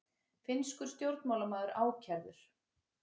Finnskur stjórnmálamaður ákærður